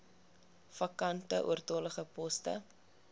vakante oortollige poste